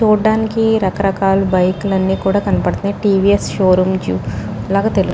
చూడానికీ రకరకాల బైక్ లన్ని కూడా కనబడుతున్నాయి టీ.వి.ఎస్ షోరూమ్ లాగా తెలుస్ --